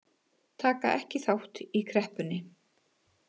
Taka ekki þátt í kreppunni